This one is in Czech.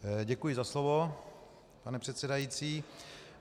Děkuji za slovo, pane předsedající.